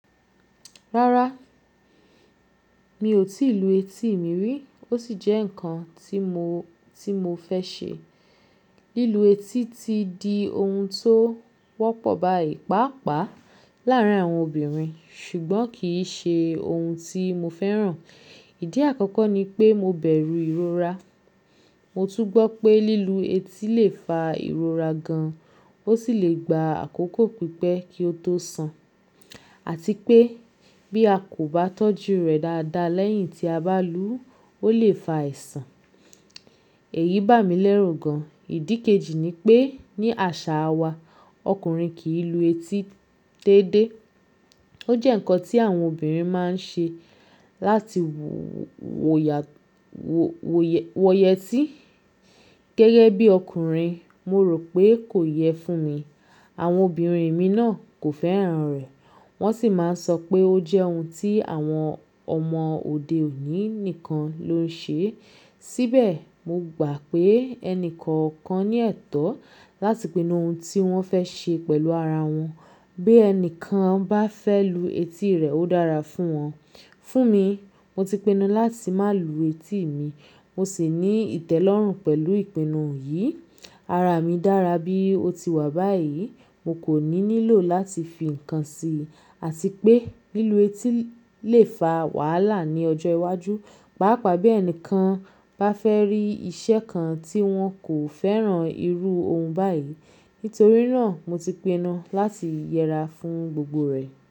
Rárá, mi ò tí ì lu etí mi rí, ó sì jẹ́ nǹkan tí mo, tí mo fẹ́ ṣe. Lílu etí ti di ohun tó wọ́pọ̀ báyìí pàápàá láàárín àwọn obìnrin ṣùgbọ́n kì í ṣe ohun tí mo fẹ́ràn. Ìdí àkọ́kọ́ ni pé mo bẹ̀rù ìrora. Mo tún gbọ́ pé lílu etí lè fa ìrora gan, ó sì lè gba àkókò pípẹ́ kí ó tó san àti pé bí a kò bá tọ́jú rẹ̀ dáadáa lẹ́yìn tí a bá lú u, ó lè fa àìsàn. Èyí bà mí lẹ́rù gan. Ìdí kejì ni pé ní àṣà wa ọkùnrin kì í lu etí déédé. Ó jẹ́ nǹkan tí àwọn obìnrin máa ń ṣe láti wò, wò yẹ, wọ̀yẹ tí. Gẹ́gẹ́ bí ọkùnrin mo rò pé kò yẹ fún mi. Àwọn obìnrin mi náà kò fẹ́ràn rẹ̀. Wọ́n sì máa ń sọ pé ó jẹ́ ohun tí àwọn ọmọ òde òní nìkan ló ń ṣe. Síbẹ̀, mo gbà pé ẹni kọ̀ọ̀kan ní ẹ̀tọ́ láti pinnu ohun tí wọ́n fẹ́ ṣe pẹ̀lú ara wọn. Bí ẹni kan bá fẹ́ lu etí rẹ̀, ó dára fún wọn. Fún mi, mo ti pinnu láti má lu etí mi. Mo sì ní ìtẹ́lọ́rùn pẹ̀lú ìpinnu yìí. Ara mi dára bí ó ti wà báyìí. Mo kò ní nílò láti fi ǹkan sí i àti pé lílu etí lè fa wàhálà ní ọjọ́ iwájú, pàápàá bí ẹni kan bá fẹ́ rí iṣẹ́ kan tí wọn kò fẹ́ràn irú ohun báyìí. Nítorí náà mo ti pinnu láti yẹra fún gbogbo rẹ̀.